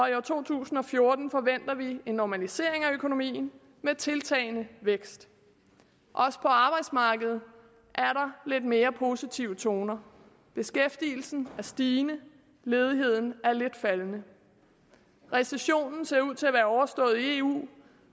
to tusind og fjorten forventer vi en normalisering af økonomien med tiltagende vækst også på arbejdsmarkedet er der lidt mere positive toner beskæftigelsen er stigende ledigheden er lidt faldende recessionen ser ud til at være overstået i eu